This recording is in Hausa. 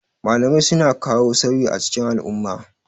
Malamai suna ka wo sauyi a cikin al'umma.